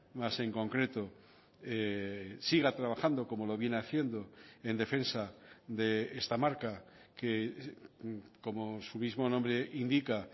más en concreto siga trabajando como lo viene haciendo en defensa de esta marca que como su mismo nombre indica